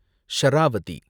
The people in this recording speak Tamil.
ஷராவதி